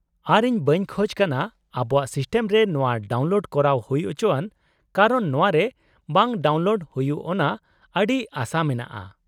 ᱟᱨ ᱤᱧ ᱵᱟᱹᱧ ᱠᱷᱚᱡ ᱠᱟᱱᱟ ᱟᱵᱚᱣᱟᱜ ᱥᱤᱥᱴᱮᱢ ᱨᱮ ᱱᱚᱶᱟ ᱰᱟᱣᱩᱱᱞᱳᱰ ᱠᱚᱨᱟᱣ ᱦᱩᱭ ᱪᱚᱣᱟᱱ ᱠᱟᱨᱚᱱ ᱱᱚᱶᱟ ᱨᱮ ᱵᱟᱜ ᱰᱟᱣᱩᱱᱞᱳᱰ ᱦᱩᱭᱩᱜ ᱚᱱᱟ ᱟᱹᱰᱤ ᱟᱥᱟ ᱢᱮᱱᱟᱜᱼᱟ ᱾